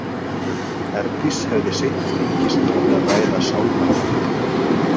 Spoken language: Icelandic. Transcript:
Herdís hefði seint fengist til að ræða sálnaflakk.